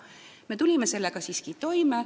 Me tulime sellega siiski toime.